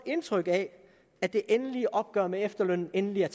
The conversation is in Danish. indtryk af at det endelige opgør med efterlønnen endelig er